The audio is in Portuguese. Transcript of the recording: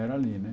Era ali, né?